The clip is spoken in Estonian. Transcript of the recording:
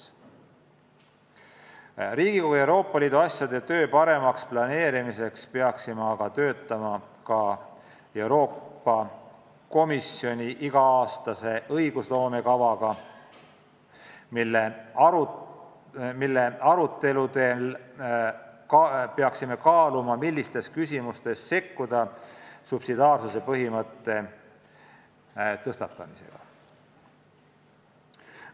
Et planeerida paremini Riigikogu tööd Euroopa Liidu asjade valdkonnas, peaksime aga käsitlema ka Euroopa Komisjoni iga-aastase õigusloome kava, mille aruteludel peaksime kaaluma, millistes küsimustes tuleks sekkuda subsidiaarsuse põhimõtte tõstatamisega.